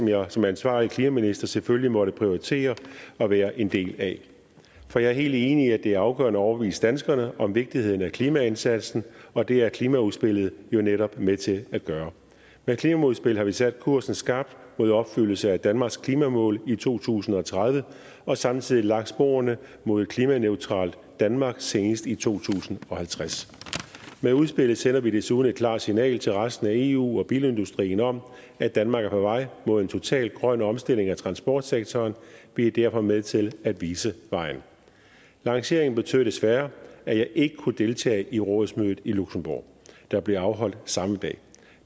jeg som ansvarlig klimaminister selvfølgelig måtte prioritere og være en del af for jeg er helt enig i at det er afgørende at overbevise danskerne om vigtigheden af klimaindsatsen og det er klimaudspillet jo netop med til at gøre med klimaudspillet har vi sat kursen skarpt mod opfyldelse af danmarks klimamål i to tusind og tredive og samtidig lagt sporene mod et klimaneutralt danmark senest i to tusind og halvtreds med udspillet sender vi desuden et klart signal til resten af eu og bilindustrien om at danmark er på vej mod en total grøn omstilling af transportsektoren vi er derfor med til at vise vejen lanceringen betød desværre at jeg ikke kunne deltage i rådsmødet i luxembourg der blev afholdt samme dag